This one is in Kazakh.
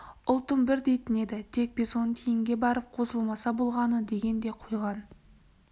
ұлтым бір дейтін еді тек бесонтиінге барып қосылмаса болғаны деген де қойған